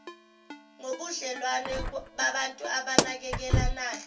ngobudlelwano babantu abanakekelanayo